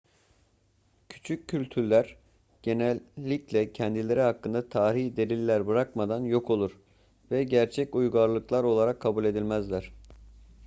küçük kültürler genellikle kendileri hakkında tarihi deliller bırakmadan yok olur ve gerçek uygarlıklar olarak kabul edilmez